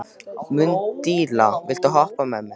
Mundína, viltu hoppa með mér?